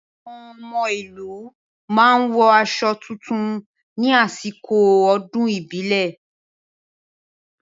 Àwọn ọmọ ìlú máa wọ aṣọ tuntun ní àsìkò ọdún ìbílẹ̀.